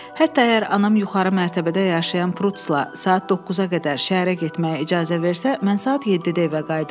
Hətta əgər anam yuxarı mərtəbədə yaşayan Prutsla saat 9-a qədər şəhərə getməyə icazə versə, mən saat 7-də evə qayıdıram.